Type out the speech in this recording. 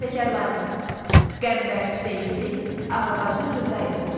Bəstəkarlarımız: Qəmbər Hüseynli, Ağabacı Rzayeva.